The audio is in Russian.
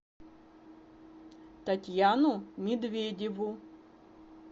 татьяну медведеву